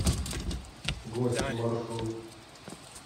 гости маршрут